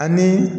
Ani